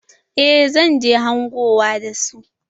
Eh zan je hangowa da su.